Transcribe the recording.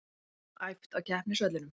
Æft á keppnisvellinum